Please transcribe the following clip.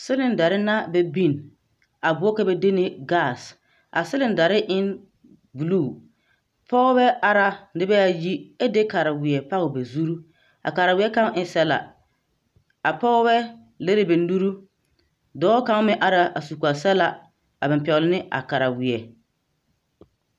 Seledare na bɛ biŋ a boɔrɔ ka ba de ne 'gas', a seledare e ne 'blue', pɔgeba are na nembɛ ayi ɛ de kareweɛ pɔge ba zuri, a kareweɛ kaŋa e ne sɔgla,a pɔgebɛ lere ba nuuri, dɔɔ kaŋa meŋ are na a su kpare sɔgla a pɛgle ne a kareweɛ.